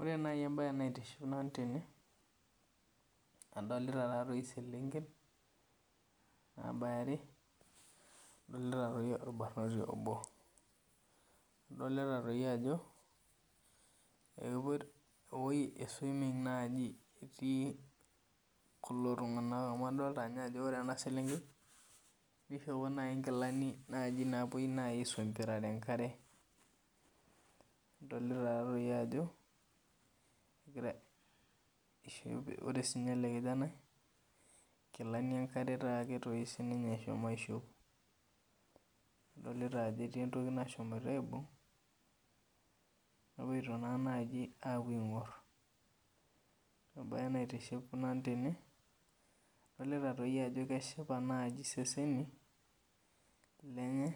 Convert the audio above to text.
Ore nau embae naitiship nanu tene adolita selenken nabaya are adolita si orbarnoti obo adolta ajo ewoi e swimming nai etii kulo tunganak amu adolta ajo ore kuna selenkei nishopo nkilani napuoi aisompir enkare adolta ako egira ore sinye elekijanai nkilani enkare sinye eshomo aishop adolta ajo etui entoki nashomoita aibung nepoito na pokki apuo aingur embae na naitishipisho nanu tene adolita ajo keshipa seseni lenye